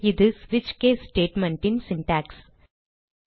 இது ஸ்விட்ச் case statement ன் சின்டாக்ஸ்